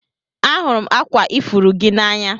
Ahụrụ m akwa ifuru gị n'anya